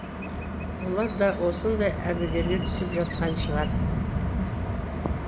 олар да осындай әбігерге түсіп жатқан шығар